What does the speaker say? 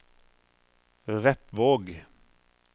Repvåg